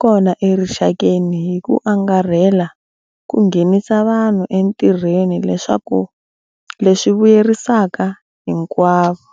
kona erixakeni hi ku angarhela ku nghenisa vanhu entirhweni leswi vuyerisaka hinkwavo.